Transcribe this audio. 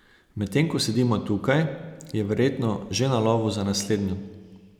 Medtem ko sedimo tukaj, je verjetno že na lovu za naslednjo.